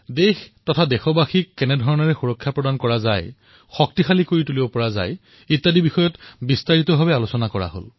দেশ আৰু দেশবাসীৰ সুৰক্ষাক অধিক শক্তিশালী কৰাৰ বাবে কিদৰে পদক্ষেপ গ্ৰহণ কৰা হয় সেই সন্দৰ্ভত বিস্তাৰিতভাৱে আলোচনা কৰা হল